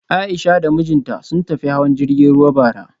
A'isha da mijinta sun tafi hawan jirgin ruwa bara